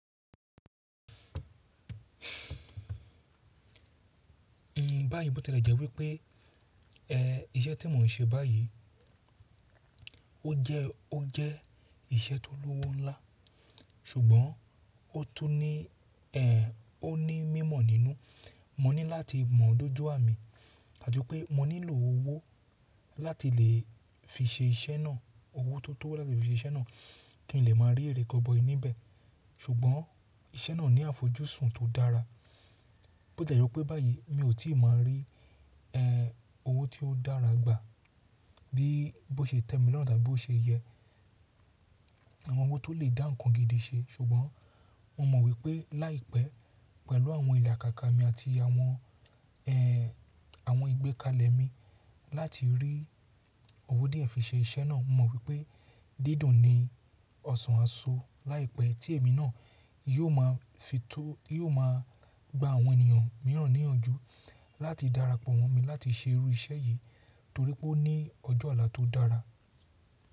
N báyìí bó tẹ́lẹ̀ jẹ́ wípé, ẹ́ iṣẹ́ tí mò ń ṣe báyìí, ó jẹ́, ó jẹ́ iṣẹ́ tó lówó ńlá, ṣùgbọ́n ó tún ní ẹ́ ó ní mímọ̀ nínú. Mọ ní láti mọ̀ ọ́ dójú ámin, àti pé mọ nílò owó láti lè fi ṣe iṣẹ́ náà, owó tó tó láti fi ṣe iṣẹ́ náà kí n lè má a rí erẹ́kọ̀bọ̀ nibẹ̀. Ṣùgbọ́n iṣẹ́ náà ní àfojúsùn tó dára. Bó tiẹ̀ jẹ́ wípé báyìí mi ò tí ì máa rí ẹ́ owó tí ó dára gbà bí bó ṣe tẹ́ mi lọ́run tàbí bó ṣe yẹ, àwọn owó tó lè dá nǹkan gidi ṣe, ṣùgbọ́n mo mọ̀ wípé láìpẹ́ pẹ̀lú àwọn ìlàkàkà mi àti àwọn ẹ́ àwọn ìgbékalẹ̀ mi láti rí owó díẹ̀ fi ṣe iṣẹ́ náà. Mo mọ̀ wípé dídùn ni ọ̀sán àsọ láìpẹ́ tí èmi náà yóò máa fi tó, yóò máa gba àwọn ènìyàn mìíràn níyànjú láti darapọ̀ mọ́ mi láti ṣe irú iṣẹ́ yìí torí pé ó ní ọjọ́ olà tó dára.